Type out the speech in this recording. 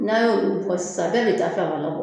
N'a y'olu bɔ sisan bɛɛ b'i ta fanfɛla bɔ